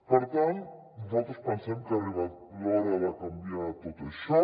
per tant nosaltres pensem que ha arribat l’hora de canviar tot això